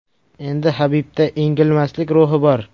Endi Habibda engilmaslik ruhi bor.